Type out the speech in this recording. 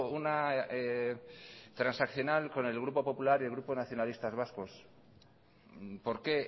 una transaccional con el grupo popular y el grupo nacionalistas vascos por qué